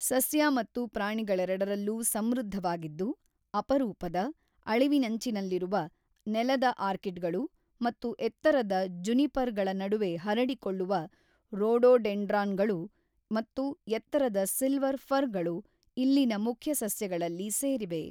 ಸಸ್ಯ ಮತ್ತು ಪ್ರಾಣಿಗಳೆರಡರಲ್ಲೂ ಸಮೃದ್ಧವಾಗಿದ್ದು, ಅಪರೂಪದ, ಅಳಿವಿನಂಚಿನಲ್ಲಿರುವ ನೆಲದ ಆರ್ಕಿಡ್‌ಗಳು ಮತ್ತು ಎತ್ತರದ ಜುನಿಪರ್‌ಗಳ ನಡುವೆ ಹರಡಿಕೊಳ್ಳುವ ರೋಡೋಡೆಂಡ್ರಾನ್‌ಗಳು ಮತ್ತು ಎತ್ತರದ ಸಿಲ್ವರ್ ಫರ್‌ಗಳು ಇಲ್ಲಿನ ಮುಖ್ಯ ಸಸ್ಯಗಳಲ್ಲಿ ಸೇರಿವೆ.